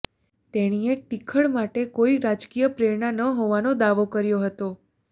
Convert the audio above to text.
તેણીએ ટીખળ માટે કોઈ રાજકીય પ્રેરણા ન હોવાનો દાવો કર્યો હતો